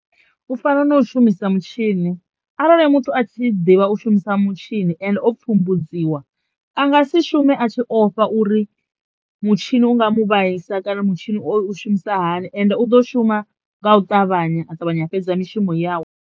U fana na u shumisa mutshini arali muthu a tshi ḓivha u shumisa mutshini ende o pfhumbudziwa anga si shume a tshi ofha uri mutshini u nga mu vhaisa kana mutshini u shumisa hani ende u ḓo shuma nga u ṱavhanya a ṱavhanya a fhedza mishumo yawe.